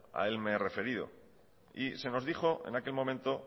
a él me he referido y se nos dijo en aquel momento